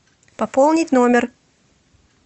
пополнить номер